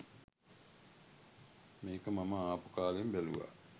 මේක මම ආපු කාලෙම බැලුවා.